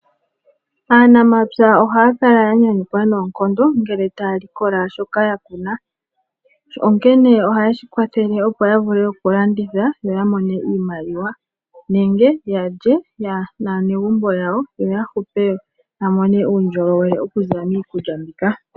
Aanamapya ohaya kala ya nyanyukwa noonkondo ngele taya likola shoka ya kuna, onkene ohaye shi kwathele, opo ya vule oku landitha noya mone iimaliwa nenge ya lye naanegumbo yawo, yo ya hupe ya mone uundjolowele okuza miikulya mbika.